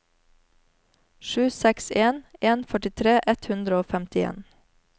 sju seks en en førtitre ett hundre og femtien